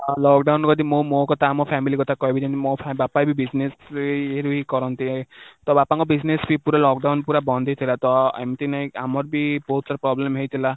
lockdown ରେ ଯଦି ମୁଁ ମୋ କଥା ଆମ family କଥା କହିବି ଯେମିତି ମୋ ବାପା ବି business ରେ ଇଏରୁ ହି କରନ୍ତି ତ ବାପାଙ୍କ business ବି ପୁରା lockdown ପୁରା ବନ୍ଦ ହିଁ ଥିଲା ଏମିତି ନାଇଁ କି ଆମର ବି ବହୁତ ସାରା problem ହେଇଥିଲା